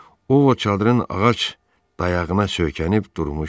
O Vot çadırın ağac dayağına söykənib durmuşdu.